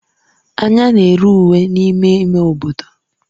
Anya na-ere uwe n'ime ime obodo.